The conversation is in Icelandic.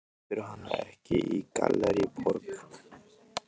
Keyptirðu hana ekki í Gallerí Borg?